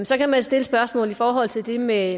så kan man stille spørgsmålet i forhold til det med